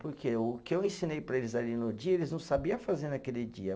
Porque o que eu ensinei para eles ali no dia, eles não sabia fazer naquele dia.